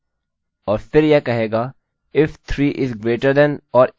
अतः नामname billy में नहीं बदला है बजाय इसके यह बाकी अपने कोड को जारी रखेगा